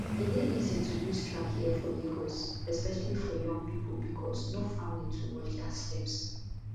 e dey easy to lose track here for lagos especially for young pipo becos no family to watch dia steps